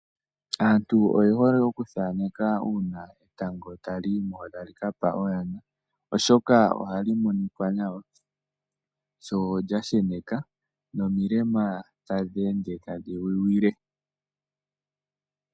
Aantu oyehole okuthaneka uuna etango tali yimo , tali kapa oyana, oshoka ohali monika nawa sho lya sheneka, nomilema tadhi ende tadhi wiwile.